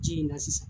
Ji in na sisan